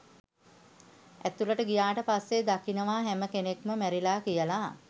ඇතුලට ගියාට පස්සේ දකිනවා හැම කෙනෙක්ම මැරිලා කියලා.